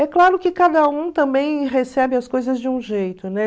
É claro que cada um também recebe as coisas de um jeito, né?